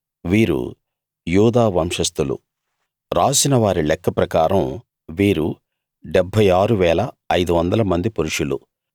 వీరు యూదా వంశస్థులు రాసిన వారి లెక్క ప్రకారం వీరు 76 500 మంది పురుషులు